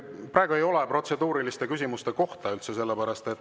Praegu ei ole üldse protseduuriliste küsimuste koht.